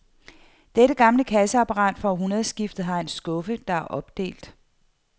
Dette gamle kasseapparat fra århundredskiftet har en skuffe, der er opdelt.